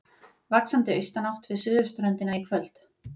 Vaxandi austanátt við suðurströndina í kvöld